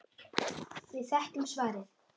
Við þekkjum svarið.